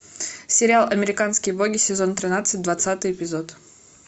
сериал американские боги сезон тринадцать двадцатый эпизод